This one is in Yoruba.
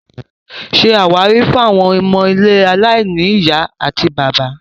Ṣé àwárí fún àwọn ilé ọmọ aláìní ìyá àti bàbá